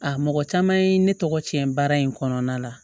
A mɔgɔ caman ye ne tɔgɔ tiɲɛ baara in kɔnɔna la